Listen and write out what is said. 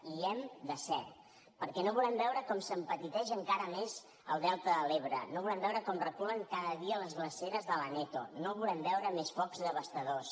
i hi hem de ser perquè no volem veure com s’empetiteix encara més el delta de l’ebre no volem veure com reculen cada dia les glaceres de l’aneto no volem veure més focs devastadors